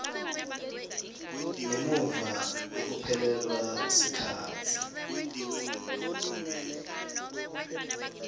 ngemuva kwekuphelelwa sikhatsi